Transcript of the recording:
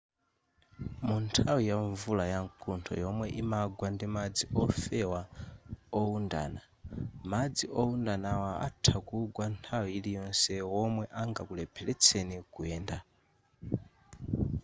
munthawi yamvula yamkuntho yomwe imagwa ndimadzi ofewa oundana madzi oundanawa atha kugwa nthawi iliyonse womwe angakulepheretseni kuyenda